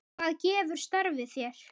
Hvað gefur starfið þér?